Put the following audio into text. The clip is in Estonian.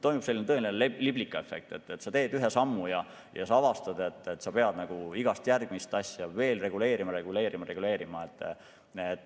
Tekib selline tõeline liblikaefekt, et sa teed ühe sammu ja avastad siis, et sa pead iga järgmist asja veel reguleerima, reguleerima, reguleerima.